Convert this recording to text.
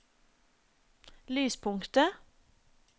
lyspunktet